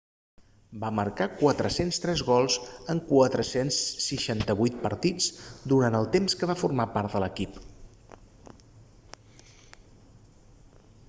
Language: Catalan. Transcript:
va marcar 403 gols en 468 partits durant el temps que va formar part de l'equip